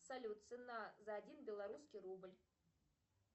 салют цена за один белорусский рубль